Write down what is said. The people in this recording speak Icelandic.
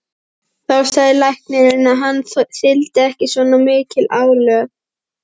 Þá sagði læknirinn að hann þyldi ekki svona mikið álag.